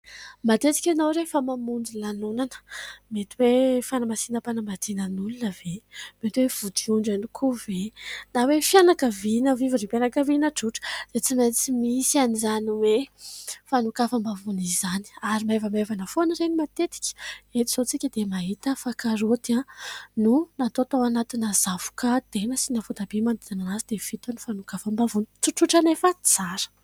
matetika ianao rehefa mamonjy lanonana mety hoe fanamasinam-panambadiana an'olona ve ? Mety hoe vodiondry ihany koa ve ? Na hoe fianakaviana fivorim-pianakaviana tsotra dia tsy maintsy misy an'izany hoe fanokafam-bavony izany ary maivamaivana foana ireny matetika eto izao isika dia mahita fa karaoty no natao tao anatina zavoka de nasina voatabia manodidina azy dia vita ny fanokafam-bavony tsotsotra nefa tsara.